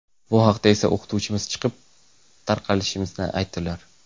Bu vaqtda esa o‘qituvchimiz chiqib, tarqalishimizni aytdilar.